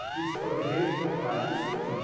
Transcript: O que você pode resgatar, nesse sentido.